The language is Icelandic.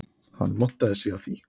Hann montaði sig af því